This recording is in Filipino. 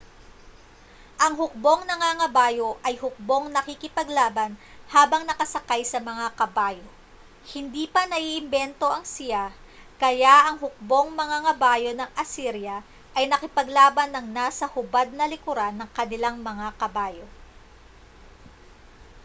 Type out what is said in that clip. ang hukbong nangangabayo ay hukbong nakikipaglaban habang nakasakay sa mga kabayo hindi pa naiimbento ang siya kaya ang hukbong mangangabayo ng asirya ay nakipaglaban nang nasa hubad na likuran ng kanilang mga kabayo